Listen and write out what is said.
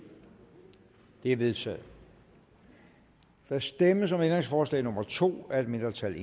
er vedtaget der stemmes om ændringsforslag nummer to af et mindretal